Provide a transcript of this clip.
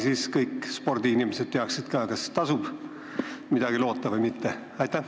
Siis kõik spordiinimesed teaksid ka, kas maksab midagi loota või mitte.